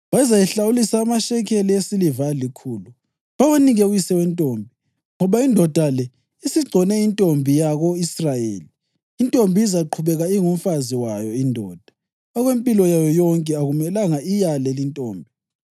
Bazayihlawulisa amashekeli esiliva alikhulu, bawanike uyise wentombi, ngoba indoda le isigcone intombi yako-Israyeli. Intombi izaqhubeka ingumfazi wayo indoda; okwempilo yayo yonke akumelanga iyale lintombi.